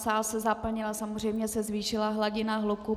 Sál se zaplnil, samozřejmě se zvýšila hladina hluku.